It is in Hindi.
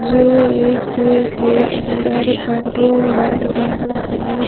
जो एक कुएं के अंदर पेट्रोल डाल रहा हैं।